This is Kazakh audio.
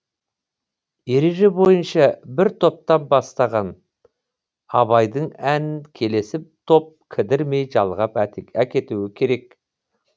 ереже бойынша бір топтан бастаған абайдың әнін келесі топ кідірмей жалғап әкетуі керек